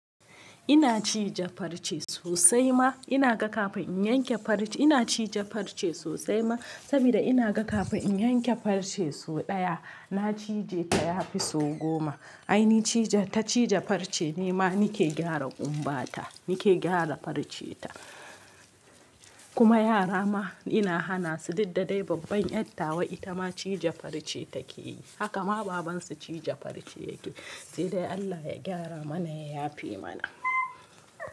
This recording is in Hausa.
Ina cije farce sosai ma, ina ga kafin in yanke farce. Ina cije farce sosai ma saboda ina ga kafin in yanke farce so ɗaya, na cije ta yafi so goma. Ai ni cije, ta cije farce, ni ma nike gyara kumbata, nike gyara farce ta. Kuma yara ma ina hana su, duk da dai babban ƴar tawa ita ma cije farce take yi. Haka ma babansu cije farce yake yi. Sai dai Allah ya gyara mana ya yafe mana.